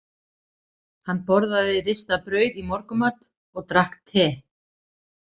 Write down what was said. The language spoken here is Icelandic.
Hann borðaði ristað brauð í morgunmat og drakk te.